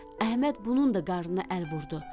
Əhməd bunun da qarnına əl vurdu.